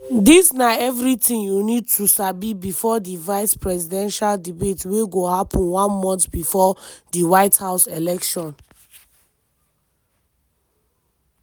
dis na everytin you need to sabi bifor di vice-presidential debate wey go happun one month bifor di white house election.